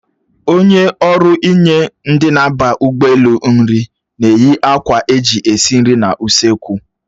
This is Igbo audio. Onye ọrụ inye ndị na-aba ụgbọelu nri na-eyi akwa eji esi nri n'usoekwu